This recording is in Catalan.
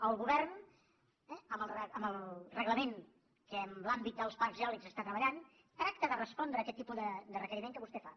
el govern amb el reglament que en l’àmbit dels parcs eòlics treballa tracta de respondre aquest tipus de requeriment que vostè fa